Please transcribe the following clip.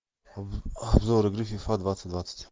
обзор игры фифа двадцать двадцать